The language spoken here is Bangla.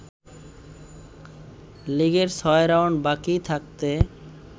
লিগের ৬ রাউন্ড বাকি থাকতে